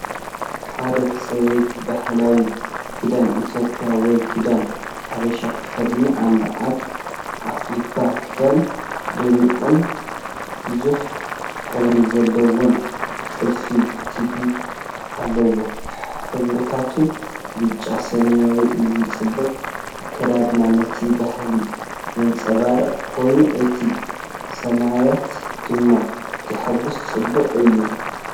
ሓደ ሰበይቲ ባህላዊ ክዳን ኢትዮጵያ ወይ "ክዳን ሓበሻ"ተኸዲና ኣላ። ኣብ ኣፍልባ ክዳን ድሙቕን ብዙሕ ሕብሪ ዘለዎን ጥልፊ (ቲቤብ) ኣለዎ። ሕብርታቱ ብጫ፡ ሰማያዊ፡ እዚ ጽቡቕ ኣከዳድና ነቲ ባህሊ ዘንጸባርቕ ኮይኑ፡ እቲ ስሚዒት ድማ ሕጉስን ጽቡቕን እዩ።